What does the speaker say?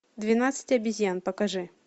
двенадцать обезьян покажи